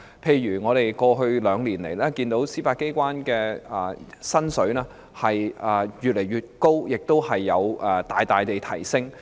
例如過去兩年來，我們看到司法機構人員的薪金一直有所增加，亦已大幅提升。